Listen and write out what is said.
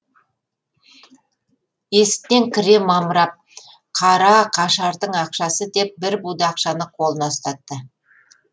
есіктен кіре мамырап қара қашардың ақшасы деп бір буда ақшаны қолына ұстатты